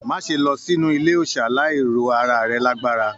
Má ṣe lọ sínú ilé òòsà láì ro ará rẹ lágbára!